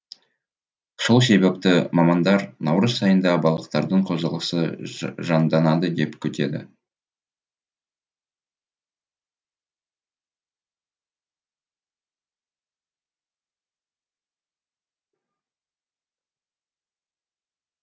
сол себепті мамандар наурыз айында балықтардың қозғалысы жанданады деп күтеді